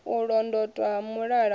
sa londotwa ha mulala u